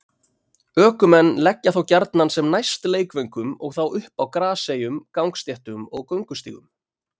Ökumenn leggja þá gjarnan sem næst leikvöngum og þá upp á graseyjum, gangstéttum og göngustígum.